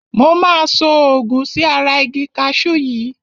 Mo máa so òògun sí ara igi kaṣú yìí.